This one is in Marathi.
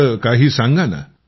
थोडं काही सांगा ना